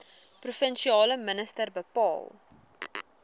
provinsiale minister bepaal